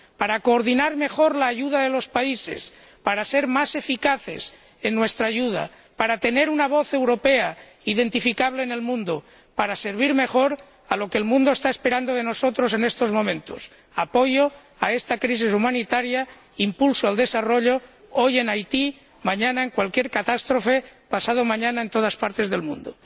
Para coordinar mejor la ayuda de los países, para ser más eficaces en nuestra ayuda, para tener una voz europea identificable en el mundo y para servir mejor a lo que el mundo está esperando de nosotros en estos momentos apoyo a esta crisis humanitaria e impulso al desarrollo, hoy en Haití, mañana en cualquier catástrofe, pasado mañana en todas partes del mundo.